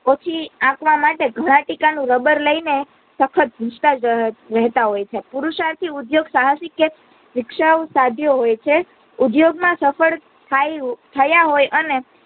ઓછી આક્વા માટે ઘણા ટીકા નું rabar લઇ ને સખત ભૂંસાતા જ રહેતા હોય છે. પુરુષાર્થી ઉદ્યોગ સાહસી કે વિક્શાવ સાધ્ય હોય છે ઉદ્યોગ માં સફળ થાય થયા હોય અને